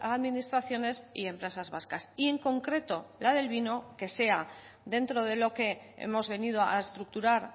administraciones y empresas vascas y en concreto la del vino que sea dentro de lo que hemos venido a estructurar